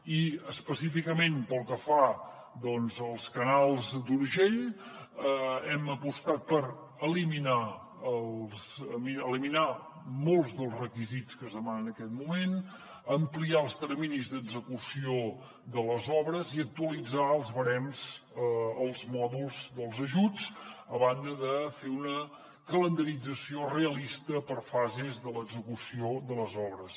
i específicament pel que fa als canals d’urgell hem apostat per eliminar molts dels requisits que es demanen en aquest moment ampliar els terminis d’execució de les obres i actualitzar els barems els mòduls dels ajuts a banda de fer una calendarització realista per fases de l’execució de les obres